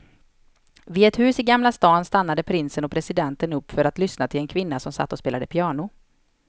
Vid ett hus i gamla stan stannade prinsen och presidenten upp för att lyssna till en kvinna som satt och spelade piano.